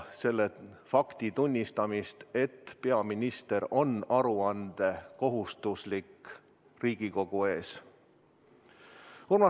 Tuleks tunnistada fakti, et peaminister on kohustatud Riigikogu ees aru andma.